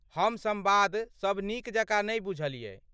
हम संवाद सब नीक जकाँ नै बुझलियै।